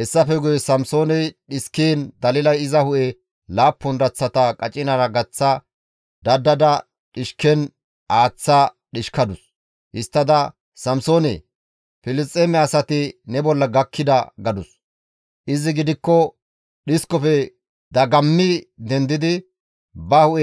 Hessafe guye Samsooney dhiskiin Dalilay iza hu7e laappun daththata qacinara gaththa dadada dhishken aaththa dhishkadus. Histtada, «Samsoone! Filisxeeme asati ne bolla gakkida» gadus; izi gidikko dhiskofe dagammi dendidi ba hu7e